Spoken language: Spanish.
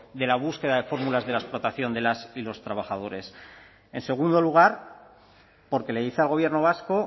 de la búsqueda de fórmulas de la explotación de las y los trabajadores en segundo lugar porque le dice al gobierno vasco